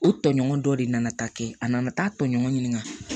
O tɔɲɔgɔn dɔ de nana taa kɛ a nana taa tɔɲɔgɔn ɲininka